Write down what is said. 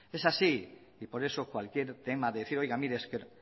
es así y por eso cualquier tema decir oiga mire